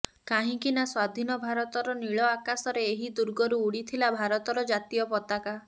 କାହିଁକି ନା ସ୍ୱାଧିନ ଭାରତର ନୀଳ ଆକାଶରେ ଏହି ଦୁର୍ଗରୁ ଉଡିଥିଲା ଭାରତର ଜାତୀୟ ପତାକା